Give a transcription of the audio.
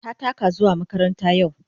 Ta taka zuwa makaranta yau.